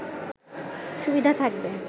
সুবিধা থাকবে